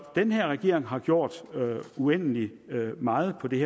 den her regering har gjort uendelig meget på det